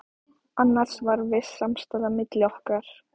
Annars var viss samstaða milli okkar